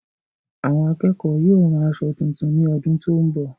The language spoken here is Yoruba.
Àwọn akẹ́kọ̀ọ́ yóò ràn aṣọ tuntun ní ọdún tó n bọ